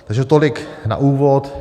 Takže tolik na úvod.